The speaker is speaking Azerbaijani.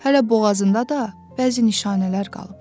Hələ boğazında da bəzi nişanələr qalıb.